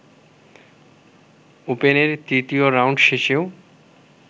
ওপেনের তৃতীয় রাউন্ড শেষেও